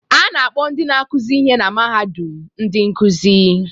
A na-akpọ ndị na-akụzi ihe na mahadum ndị nkuzi